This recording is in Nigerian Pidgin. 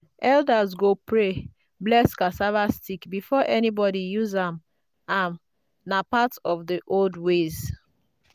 elders go pray bless cassava stick before anybody use am am na part of the old ways.